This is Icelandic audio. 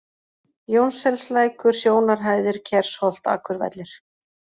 Jónsselslækur, Sjónarhæðir, Kersholt, Akurvellir